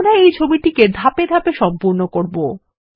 আমরা এই ছবিটিকে ধাপে ধাপে সম্পূর্ণ করবো